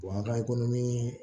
an ka i ko ni